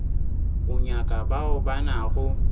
o nyaka bao ba nago